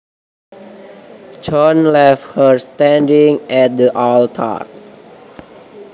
John left her standing at the altar